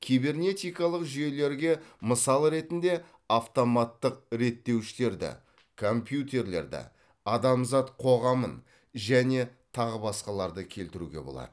кибернетикалық жүйелерге мысал ретінде автоматтық реттеуіштерді компьютерлерді адамзат қоғамын және тағы басқаларды келтіруге болады